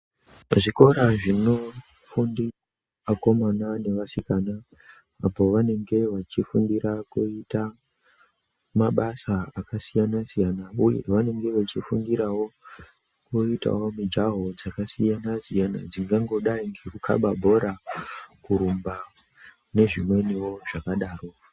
Zvikora zvinofundira Vakomana nevasikana pavanenge vachifundira kuita mabasa akasiyana siyana uye vanenge vachifundirawo voitawo mijaho yakasiyana siyana dzingangodai ngekukaba bhora kurumba nezvimweni zvakangodaro.